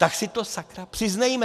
Tak si to sakra přiznejme!